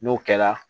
N'o kɛla